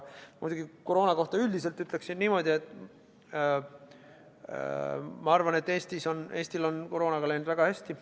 Koroona kohta üldiselt ütleksin niimoodi, et ma arvan, et Eestil on koroonaga läinud väga hästi.